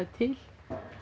til